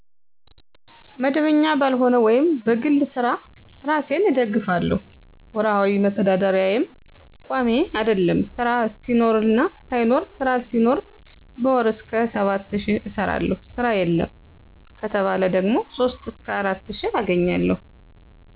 መደበኛ ባልሆነ ወይም በግል ስራ እራሴን እደግፍለሁ። ወርሀዊ መተዳደርያየም ቋሚ አደለም ስራ ሲኖርና ሳይኖር ስራ ሲኖር በወር እስከ 7 ሺ እሰራለሁ ስራ የለም ከተባለ ደግሞ 3 እስከ 4 ሺ አገኛለሁ።